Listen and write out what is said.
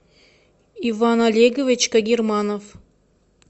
иван олегович кагерманов